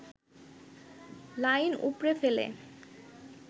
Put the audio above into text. line উপড়ে ফেলে